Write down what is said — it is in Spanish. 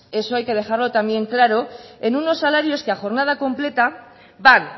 eso hay que dejarlo también claro en unos salarios que a jornada completa van